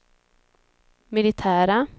militära